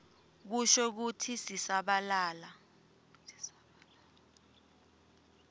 kusho kutsi sisabalala